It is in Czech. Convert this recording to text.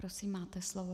Prosím, máte slovo.